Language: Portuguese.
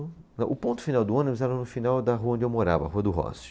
O ponto final do ônibus era no final da rua onde eu morava, a Rua do Rossio.